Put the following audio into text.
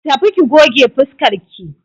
Tafi ki goge fuskarki!